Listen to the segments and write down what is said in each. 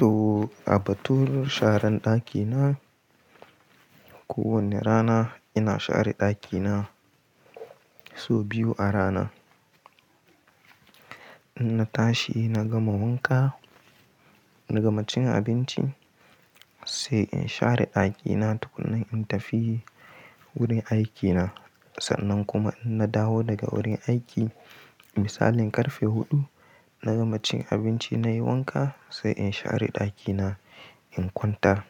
To, a batun sharan ɗakina, kowane rana ina share ɗakina sau biyu a rana. In na tashi na gama wanka, na gama cin abinci sai in share ɗakina tukuna in tafi wurin aikina. Sannan kuma in na dawo daga wurin aiki misalin ƙarfe huɗu, na gama cin abinci nayi wanka sai in share ɗakina in kwantar.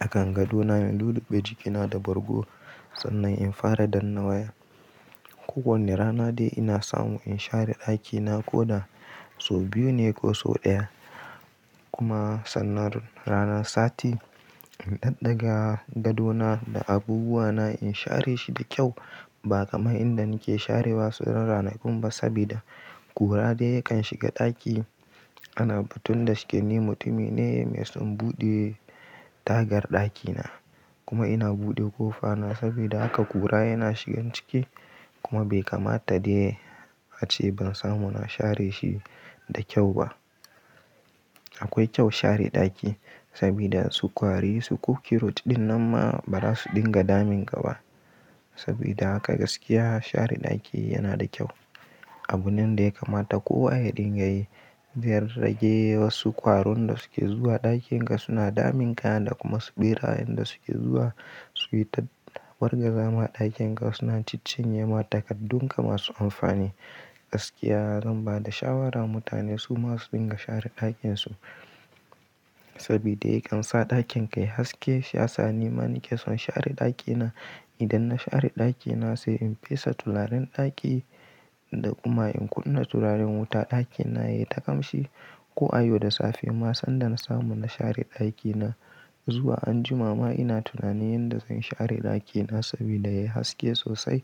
A kan gadona in luluɓe jikina da bargo sannan in fara danna waya. Ko wane rana dai ina samu in share ɗakina ko da sau biyu ne ko sau ɗaya. Kuma sannar ranar sati in ɗaɗɗaga gadona da abubuwana in share shi da kyau ba kamar inda nake share wasu ranaku ba sabida kura dai yakan shiga ɗaki. Ana batun da shike ni mutumi ne mai son buɗe tagar ɗakina kuma ina buɗe ƙofa na sabida haka kura yana shigan ciki kuma bai kamata dai ace ban samu na share shi da kyau ba. Akwai kyau share ɗaki sabida su kwari su kukiro ɗin nan ma ba za su dinga damin ka ba. Sabida haka gaskiya share ɗaki yana da kyau. Abu nan da yakamata kowa ya dinga yi. Zai rage wasu kwaron da suke zuwa ɗakin ka suna damin ka da kuma su ɓera inda suke zuwa su yi ta wargaza ma ɗakin ga suna ciccinyema takaddun ka masu amfani. Gaskiya zan ba da shawara mutane su masu dinga share ɗakin su sabida yakan sa ɗakin ka yayi haske. Shiyasa ni ma nake son share ɗakina. Idan na share ɗakina sai in fesa turaren ɗaki da kuma in kunna turaren wuta ɗakina yayi ta ƙamshi ko a yau da safe ma sanda na samu na share ɗakina. Zuwa anjima ma ina tunanin da zan share ɗakina sabida yayi haske sosai.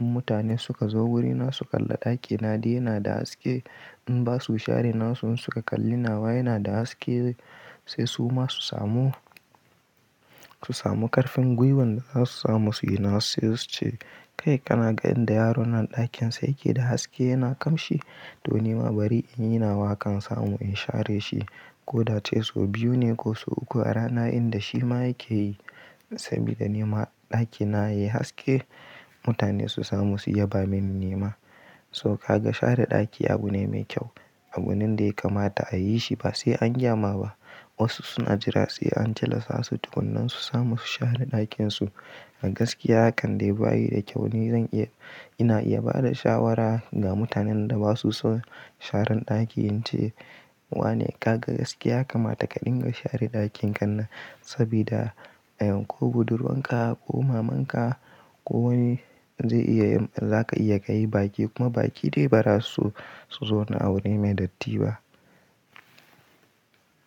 In mutane suka zo wurina su kalla ɗakina dai yana da haske. In basu share nason su suka kalli nawa yana da haske sai su ma su samu, su samu ƙarfin gwiwan da za su samu suyi nasu sai su ce kai kana gan da yaro nan ɗakin sai yake da haske yana ƙamshi. To nima bari in yi nawa hakan samu in share shi ko da ce sau biyu ne ko sau uku a rana inda shi ma yake yi sabida nima ɗakina yayi haske mutane su samu su yaba mini nima. To kaga share ɗaki abu ne mai kyau. Abu nan dai kamata a yi shi ba sai an gyama ba. Wasu suna jira sai an tilasa su tukunan su samu su share ɗakin su. A gaskiya hakan dai bayi da kyau ni zan iya, ina iya ba da shawara ga mutanen da basu son sharan ɗaki in ce wa ne kaga gaskiya kamata ka dinga share ɗakin ka nan sabida a yau ko budurwa ka ko maman ka ko wane zai iya yi, za ka iya ka yi baki kuma baki dai ba za su zo na abu ne mai datti ba.